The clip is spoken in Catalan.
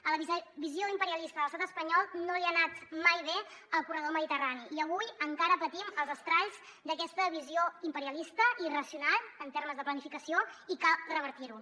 a la visió imperialista de l’estat espanyol no li ha anat mai bé el corredor mediterrani i avui encara patim els estralls d’aquesta visió imperialista i irracional en termes de planificació i cal revertir ho